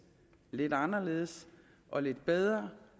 lidt anderledes og lidt bedre